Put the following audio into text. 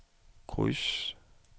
kryds